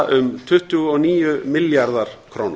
um tuttugu og níu milljarðar króna